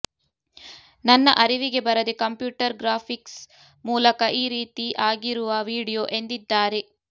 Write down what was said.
ನನ್ನ ಅರಿವಿಗೆ ಬರದೆ ಕಂಪ್ಯೂಟರ್ ಗ್ರಾಫಿಕ್ಸ್ ಮೂಲಕ ಈ ರೀತಿ ಆಗಿರುವ ವಿಡಿಯೋ ಎಂದಿದ್ದಾರೆ